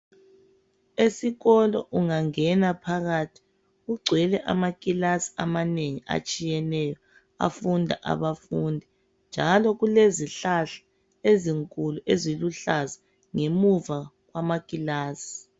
Esikolo ungangena phakathi kugcwele amakilasi amanengi atshiyeneyo afunda abafundi. Njalo kulezihlahla ezinkulu eziluhlaza ngemuva kwamakilasi.